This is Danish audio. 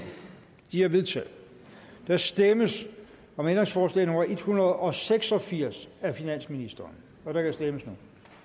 de er vedtaget der stemmes om ændringsforslag nummer en hundrede og seks og firs af finansministeren og der kan stemmes